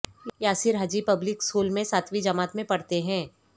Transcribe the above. Yasir Haji public school میں ساتویں جماعت میں پڑھتے ہیں